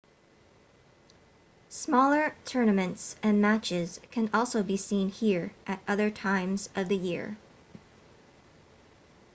smaller tournaments and matches can also be seen here at other times of the year